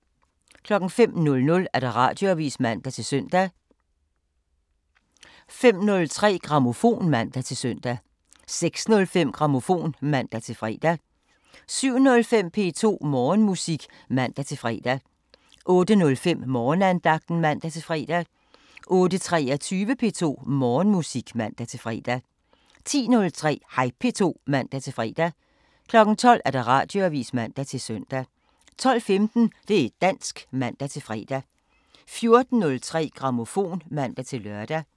05:00: Radioavisen (man-søn) 05:03: Grammofon (man-søn) 06:05: Grammofon (man-fre) 07:05: P2 Morgenmusik (man-fre) 08:05: Morgenandagten (man-fre) 08:23: P2 Morgenmusik (man-fre) 10:03: Hej P2 (man-fre) 12:00: Radioavisen (man-søn) 12:15: Det' dansk (man-fre) 14:03: Grammofon (man-lør)